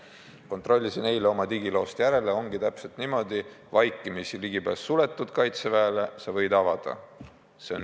Kontrollisin eile oma digiloost järele, ongi täpselt niimoodi: vaikimisi ligipääs Kaitseväele suletud, aga sa võid selle avada.